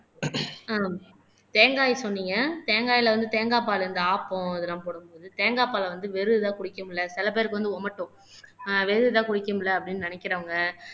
ஆஹ் தேங்காயை சொன்னீங்க தேங்காயில வந்து தேங்காய்ப்பால் இந்த ஆப்பம் இதெல்லாம் போடும்போது தேங்காய் பாலை வந்து வெறும் இதா குடிக்க முடியலை சில பேருக்கு வந்து ஓமட்டும் ஆஹ் வெறும் இதை குடிக்க முடியலை அப்படின்னு நினைக்கிறவங்க